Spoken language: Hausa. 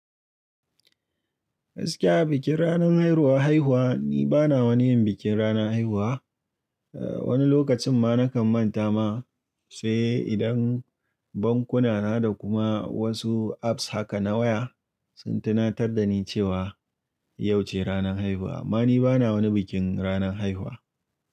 Aske a bikin ranan haihuwa, haihuwa ni bana wani yin bikin rana haihuwa. Eh wani lokacin ma nakan manta ma, sai idan bankuna na da kuma wasu apps haka na waya sun tunatar da ni cewa yauce ranan haihuwa. Ma ni bana wani bikin ranan haihuwa.